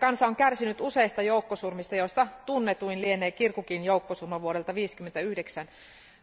Kansa on kärsinyt useista joukkosurmista, joista tunnetuin lienee Kirkukin joukkosurma vuodelta 1959.